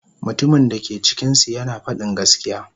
Mutumin da ke cikinsu yana faɗin gaskiya.